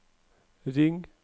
ring